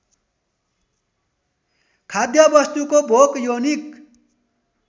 खाद्यवस्तुको भोक यौनिक